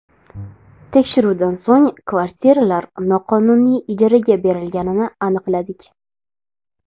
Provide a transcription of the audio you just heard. Tekshiruvdan so‘ng kvartiralar noqonuniy ijaraga berilganini aniqladik.